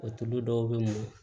O tulu dɔw bɛ mɔ